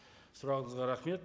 сұрағыңызға рахмет